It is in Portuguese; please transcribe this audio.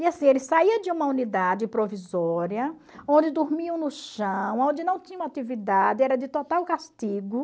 E assim, ele saía de uma unidade provisória, onde dormiam no chão, onde não tinha uma atividade, era de total castigo.